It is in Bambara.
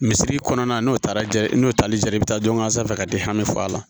Misiri kɔnɔna n'o taara ja n'o tali jara i bɛ taa dɔn sanfɛ ka di hami fɔ a la